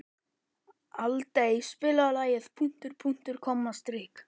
Aldey, spilaðu lagið „Punktur, punktur, komma, strik“.